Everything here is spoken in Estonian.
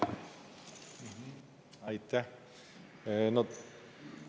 Aitäh!